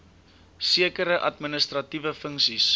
sekere administratiewe funksies